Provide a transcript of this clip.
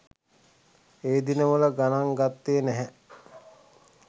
ඒ දිනවල ගණන් ගත්තේ නැහැ.